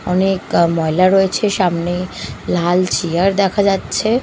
অনেক আ ময়লা রয়েছে সামনে লাল চেয়ার দেখা যাচ্ছে।